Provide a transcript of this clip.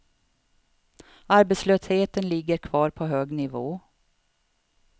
Arbetslösheten ligger kvar på hög nivå.